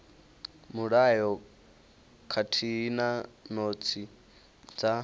mulayo khathihi na notsi dza